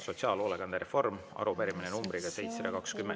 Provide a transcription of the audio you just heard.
Sotsiaalhoolekande reform, arupärimine numbriga 720.